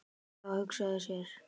Já, hugsa sér!